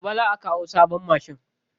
Gobe za'a kawo sabon mashin.